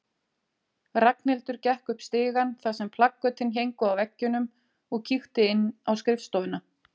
Ragnhildur gekk upp stigann þar sem plakötin héngu á veggjunum og kíkti inn á skrifstofuna.